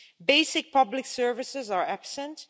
basic public services are absent